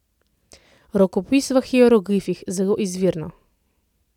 Rokopis v hieroglifih, zelo izvirno.